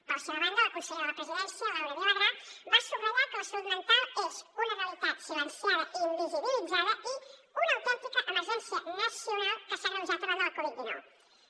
per la seva banda la consellera de la presidència laura vilagrà va subratllar que la salut mental és una realitat silenciada i invisibilitzada i una autèntica emergència nacional que s’ha agreujat arran de la covid diecinueve